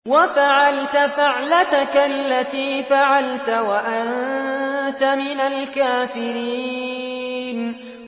وَفَعَلْتَ فَعْلَتَكَ الَّتِي فَعَلْتَ وَأَنتَ مِنَ الْكَافِرِينَ